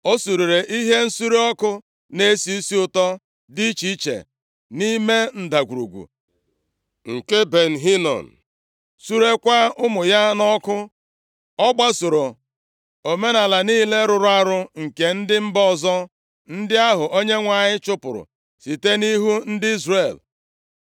O surere ihe nsure ọkụ na-esi isi ụtọ dị iche iche nʼime Ndagwurugwu nke Ben Hinom, surekwaa ụmụ ya nʼọkụ. Ọ gbasoro omenaala niile rụrụ arụ nke ndị mba ọzọ, ndị ahụ Onyenwe anyị chụpụrụ site nʼihu ndị Izrel.